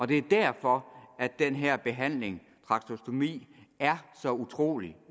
det er derfor at den her behandling trakostomi er så utrolig